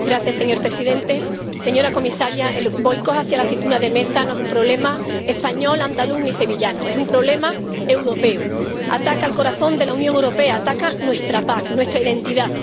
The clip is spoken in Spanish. Señor presidente, señora comisaria, el boicot a la aceituna de mesa no es un problema español, andaluz o sevillano, es un problema europeo ataca al corazón de la Unión Europea, ataca nuestra PAC, nuestra identidad.